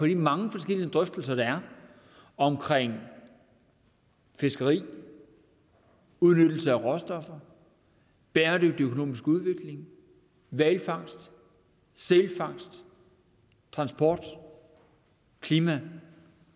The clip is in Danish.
de mange forskellige drøftelser om fiskeri udnyttelse af råstoffer bæredygtig økonomisk udvikling hvalfangst sælfangst transport og klima